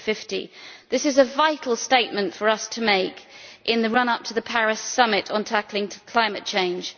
2050. This is a vital statement for us to make in the run up to the Paris summit on tackling climate change.